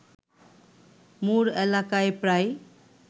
মুর এলাকায় প্রায়